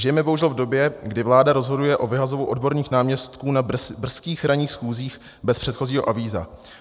Žijeme bohužel v době, kdy vláda rozhoduje o vyhazovu odborných náměstků na brzkých ranních schůzích bez předchozího avíza.